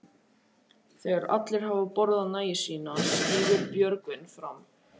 Þegar allir hafa borðað nægju sína stígur Björgvin fram.